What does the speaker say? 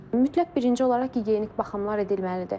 Mütləq birinci olaraq gigiyenik baxımlar edilməlidir.